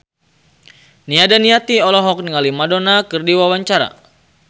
Nia Daniati olohok ningali Madonna keur diwawancara